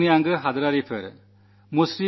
പ്രിയപ്പെട്ട ദേശവാസികളേ ശ്രീ